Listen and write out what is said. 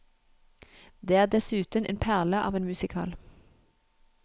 Det er dessuten en perle av en musical.